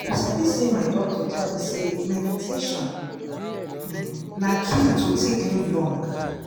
you sabi say my doctor tell me say meditation um na key to take live long.